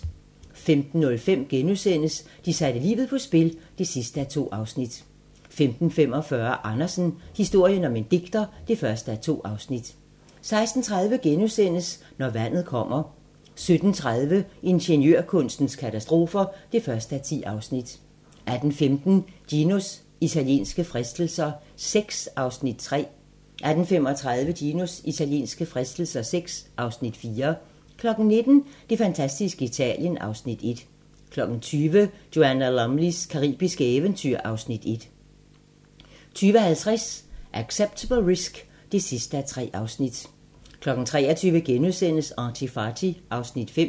15:05: De satte livet på spil (2:2)* 15:45: Andersen - historien om en digter (1:2) 16:30: Når vandet kommer * 17:30: Ingeniørkunstens katastrofer (1:10) 18:15: Ginos italienske fristelser VI (Afs. 3) 18:35: Ginos italienske fristelser VI (Afs. 4) 19:00: Det fantastiske Italien (Afs. 1) 20:00: Joanna Lumleys caribiske eventyr (Afs. 1) 20:50: Acceptable Risk (3:3) 23:00: ArtyFarty (Afs. 5)*